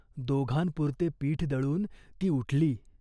तुला गायी म्हशी आमच्याहून प्रिय. आम्हाला मारून तरी टाक.